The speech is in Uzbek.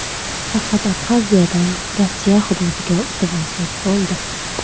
Faqat Abxaziyadan Rossiya hududiga o‘tib olsak bo‘ldi.